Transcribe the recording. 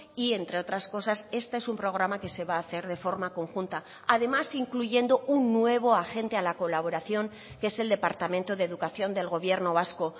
y entre otras cosas este es un programa que se va a hacer de forma conjunta además incluyendo un nuevo agente a la colaboración que es el departamento de educación del gobierno vasco